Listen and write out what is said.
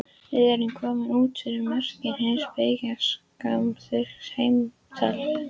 Við erum komnir út fyrir mörk hins byggingarsamþykkta heims.